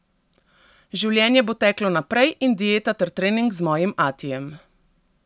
Življenje bo teklo naprej in dieta ter trening z mojim atijem.